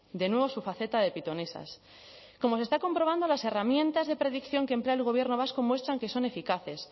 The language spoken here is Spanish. de nuevo su faceta de pitonisas como se está comprobando las herramientas de predicción que emplea el gobierno vasco muestran que son eficaces